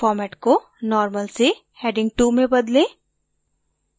format को normal से heading 2 में बदलें